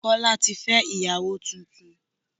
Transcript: Kọ́lá tí fẹ́ ìyàwó tuntun